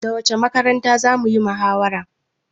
Da wacce makaranta zamuyi muhawara?